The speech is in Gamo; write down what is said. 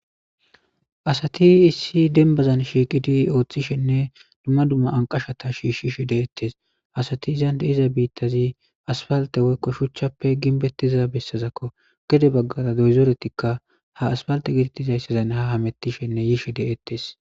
Asati issi dembazan shiqidi othishene dumma dumma anqashata shishishe dttese. Asati izan de'iza bittazi aspalte woykon shuchappe gidetiza bitakko diza besazako gede bagara dozoretika ha asipalte getetiziysazan hamutishene ha yishe de'etes